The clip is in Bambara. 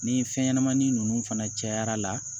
Ni fɛnɲɛnɛmanin ninnu fana cayara